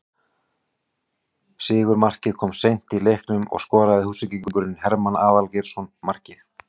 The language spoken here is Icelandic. Sigurmarkið kom seint í leiknum og skoraði Húsvíkingurinn Hermann Aðalgeirsson markið